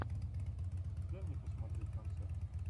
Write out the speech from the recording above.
дай мне посмотреть концерт